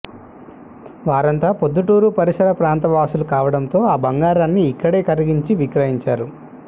వారంతా ప్రొద్దుటూరు పరిసర ప్రాంత వాసులు కావడంతో ఆ బంగారాన్ని ఇక్కడే కరిగించి విక్రయించారు